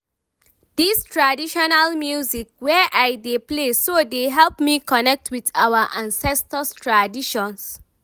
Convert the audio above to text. this traditional music wey I dey play so dey help me connect with our ancestors traditions